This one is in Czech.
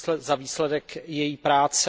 za výsledek její práce.